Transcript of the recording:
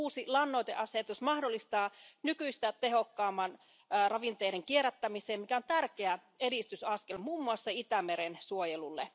Uusi lannoiteasetus mahdollistaa nykyistä tehokkaamman ravinteiden kierrättämisen, mikä on tärkeä edistysaskel muun muassa Itämeren suojelulle.